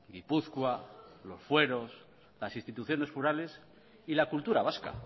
gipuzkoa los fueros las instituciones forales y la cultura vasca